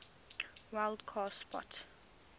wild card spot